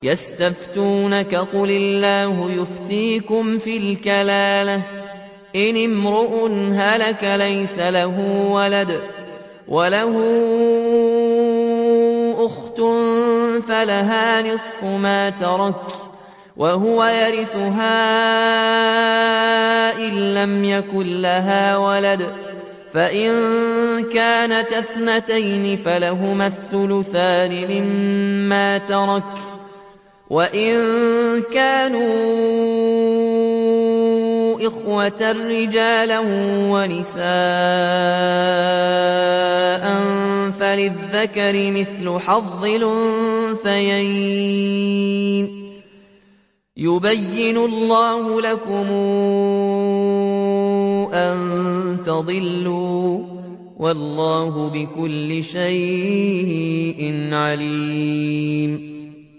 يَسْتَفْتُونَكَ قُلِ اللَّهُ يُفْتِيكُمْ فِي الْكَلَالَةِ ۚ إِنِ امْرُؤٌ هَلَكَ لَيْسَ لَهُ وَلَدٌ وَلَهُ أُخْتٌ فَلَهَا نِصْفُ مَا تَرَكَ ۚ وَهُوَ يَرِثُهَا إِن لَّمْ يَكُن لَّهَا وَلَدٌ ۚ فَإِن كَانَتَا اثْنَتَيْنِ فَلَهُمَا الثُّلُثَانِ مِمَّا تَرَكَ ۚ وَإِن كَانُوا إِخْوَةً رِّجَالًا وَنِسَاءً فَلِلذَّكَرِ مِثْلُ حَظِّ الْأُنثَيَيْنِ ۗ يُبَيِّنُ اللَّهُ لَكُمْ أَن تَضِلُّوا ۗ وَاللَّهُ بِكُلِّ شَيْءٍ عَلِيمٌ